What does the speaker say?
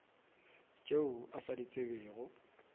tšeo a sa di tsebego